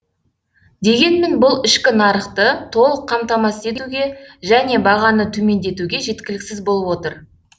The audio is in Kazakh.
дегенмен бұл ішкі нарықты толық қамтамасыз етуге және бағаны төмендетуге жеткіліксіз болып отыр